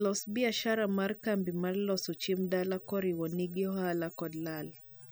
loso biashara mar kambi mar loso chiemb dala korwa nigi ohala kod lal